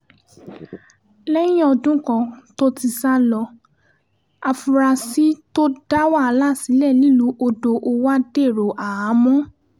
lẹ́yìn ọdún kan tó ti sá lọ àfúrásì tó dá wàhálà sílẹ̀ nílùú odò-owa dèrò àhámọ́